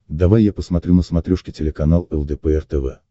давай я посмотрю на смотрешке телеканал лдпр тв